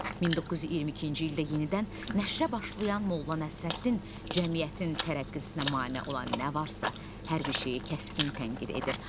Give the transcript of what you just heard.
1922-ci ildə yenidən nəşrə başlayan Molla Nəsrəddin cəmiyyətin tərəqqisinə mane olan nə varsa, hər bir şeyi kəskin tənqid edir.